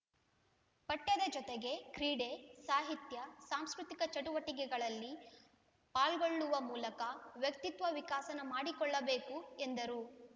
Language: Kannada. ಪಠ್ಯದ ಜೊತೆಗೆ ಕ್ರೀಡೆ ಸಾಹಿತ್ಯ ಸಾಂಸ್ಕೃತಿಕ ಚಟುವಟಿಕೆಗಳಲ್ಲಿ ಪಾಲ್ಗೊಳ್ಳುವ ಮೂಲಕ ವ್ಯಕ್ತಿತ್ವ ವಿಕಸನ ಮಾಡಿಕೊಳ್ಳಬೇಕು ಎಂದರು